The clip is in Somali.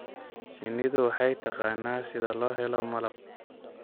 Shinnidu waxay taqaanaa sida loo helo malab.